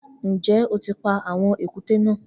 Njẹ o ti pa awọn èkúté na?